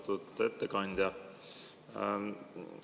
Austatud ettekandja!